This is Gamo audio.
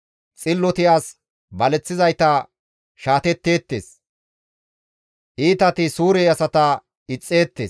Xilloti as baleththizayta shaatetteettes; Iitati suure asata ixxeettes.